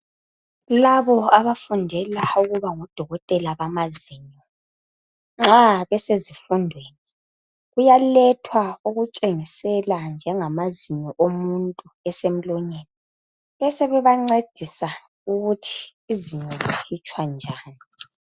Labo abafundela ukuba ngodokotela bamazinyo, nxa besezifundweni kuyalethwa okutshengisela njengamazinyo omuntu esemlonyeni. Besebebancedisa ukuthi izinyo likhitshwa njani.